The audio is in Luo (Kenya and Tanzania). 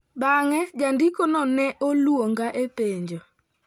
Bang'e jandikono ne oluonga e penjo."